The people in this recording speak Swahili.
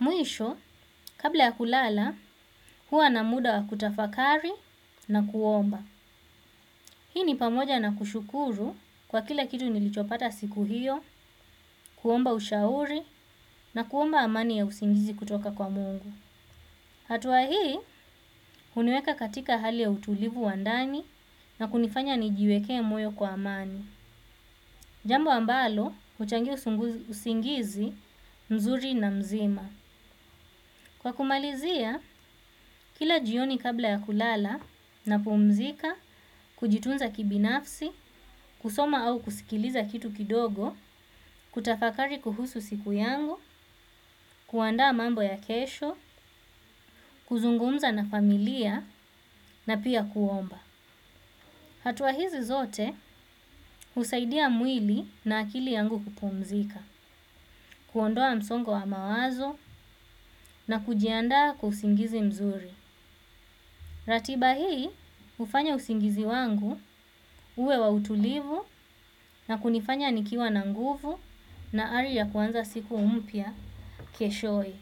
Mwisho, kabla ya kulala, huwa na muda wa kutafakari na kuomba. Hii ni pamoja na kushukuru kwa kila kitu nilichopata siku hiyo, kuomba ushauri na kuomba amani ya usingizi kutoka kwa mungu. Hatua hii, huniweka katika hali ya utulivu wa ndani na kunifanya nijiwekee moyo kwa amani. Jambo ambalo, huchangia usingizi mzuri na mzima. Kwa kumalizia, kila jioni kabla ya kulala napumzika, kujitunza kibinafsi, kusoma au kusikiliza kitu kidogo, kutafakari kuhusu siku yangu, kuandaa mambo ya kesho, kuzungumza na familia na pia kuomba. Hatua hizi zote husaidia mwili na akili yangu kupumzika, kuondoa msongo wa mawazo na kujianda kwa usingizi mzuri. Ratiba hii hufanya usingizi wangu uwe wa utulivu na kunifanya nikiwa na nguvu na hari ya kuanza siku mpya keshowe.